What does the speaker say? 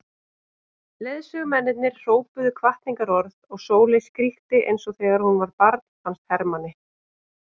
Leiðsögumennirnir hrópuðu hvatningarorð og Sóley skríkti eins og þegar hún var barn fannst Hermanni.